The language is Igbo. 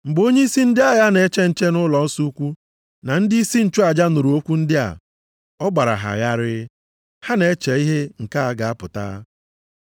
Mgbe onyeisi ndị agha na-eche ụlọnsọ ukwu na ndịisi nchụaja nụrụ okwu ndị a, ọ gbara ha gharịị, ha na-eche ihe nke a ga-apụta.